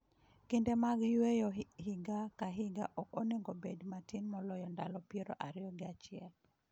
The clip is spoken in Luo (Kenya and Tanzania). Kinde mag Yueyo higa ka higa ok onego obed matin moloyo ndalo piero ariyo gi achiel.